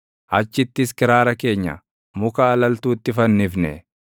Achittis kiraara keenya muka alaltuutti fannifne;